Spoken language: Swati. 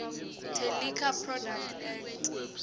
teliquor products act